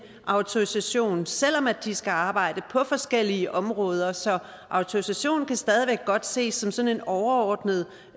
autorisation selv om de skal arbejde på forskellige områder så autorisation kan stadig væk godt ses som sådan en overordnet